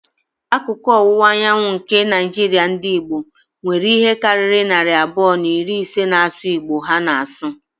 Akụkụ ọwụwa anyanwụ nke Naijiria ndị Igbo, nwere ihe karịrị narị abụọ na iri ise na-asụ Igbo ha na-asụ.